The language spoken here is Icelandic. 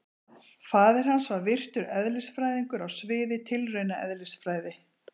Faðir hans var virtur eðlisfræðingur á sviði tilraunaeðlisfræði.